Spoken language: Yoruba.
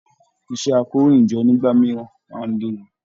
Iṣẹ àkòróyinjọ́ nígbà mìíràn máa n léwu